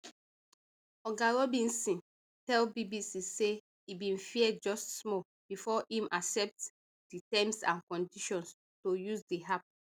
oga robinson tell bbc say e bin fear just small bifor im accept di terms and conditions to use di app